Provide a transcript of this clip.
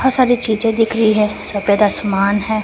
सारी चीजे दिख रही है सफेद आसमान है।